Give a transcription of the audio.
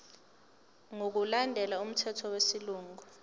ngokulandela umthetho wesilungu